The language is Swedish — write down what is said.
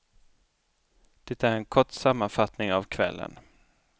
Det är en kort sammanfattning av kvällen.